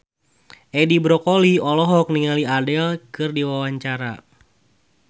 Edi Brokoli olohok ningali Adele keur diwawancara